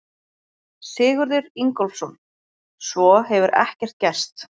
Sigurður Ingólfsson: Svo hefur ekkert gerst?